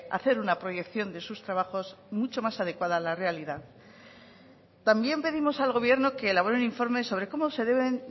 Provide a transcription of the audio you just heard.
hacer una proyección de sus trabajos mucho más adecuada a la realidad también pedimos al gobierno que elabore un informe sobre cómo se deben